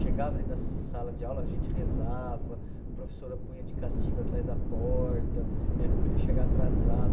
Chegava dentro da sala de aula, a gente rezava, a professora punha de castigo atrás da porta, eh não podia chegar atrasado.